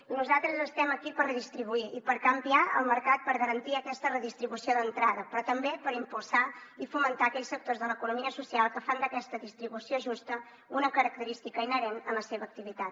i nosaltres estem aquí per redistribuir i per canviar el mercat per garantir aquesta redistribució d’entrada però també per impulsar i fomentar aquells sectors de l’economia social que fan d’aquesta distribució justa una característica inherent en la seva activitat